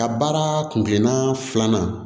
Ka baara kun gilan filanan